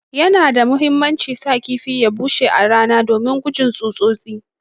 Yana da muhimmanci sa kifi ya bushe a rana domin gujin tsutsotsi.